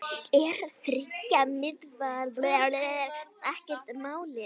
Er þriggja miðvarða kerfi málið?